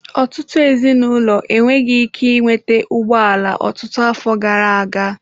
Ọtụtụ ezinụlọ enweghị ike ị nweta ụgbọ ala ọtụtụ afọ gara aga.